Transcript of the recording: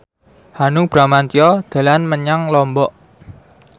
Hanung Bramantyo dolan menyang Lombok